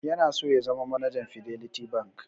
Yana so ya zama manajan Fiderlity Bank.